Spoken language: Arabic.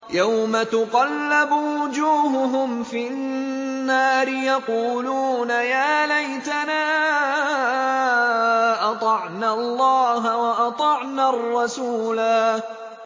يَوْمَ تُقَلَّبُ وُجُوهُهُمْ فِي النَّارِ يَقُولُونَ يَا لَيْتَنَا أَطَعْنَا اللَّهَ وَأَطَعْنَا الرَّسُولَا